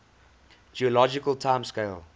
geologic time scale